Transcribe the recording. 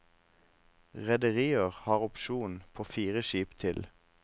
Rederier har opsjon på fire skip til.